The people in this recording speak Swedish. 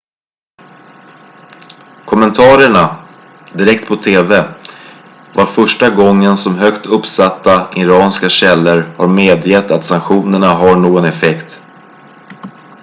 kommentarerna direkt på tv var första gången som högt uppsatta iranska källor har medgett att sanktionerna har någon effekt